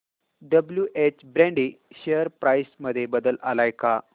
WH Brady share price मध्ये बदल आलाय का